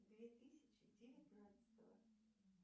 две тысячи девятнадцатого